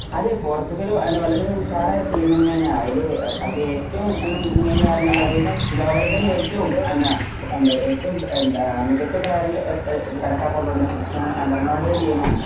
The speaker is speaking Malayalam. അതെ പോർച്ചുഗൽവളരെയധികം ഉഷാറായ ടീമെന്നെണ് അയില്അയില് ഏറ്റവും മെയിൻ തരാന് പറയുന്നത് കാരണം ലോകത്തിലെ തന്നെ ഏറ്റവും എന്താ ഏറ്റവും എന്താ മികച്ച മികച്ച പാരല് ആ ആ ആ എന്ന് കണക്കാക്ക പെടുന്ന ക്രിസ്റ്റ്യാനോയും റൊണാൾഡോയും ടീമുമാണ്